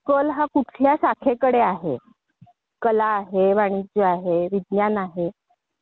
त्याचा शिक्षण पूर्ण झाल्यावर त्याला लगेच नोकरीच्या संधी उपलब्ध होतील.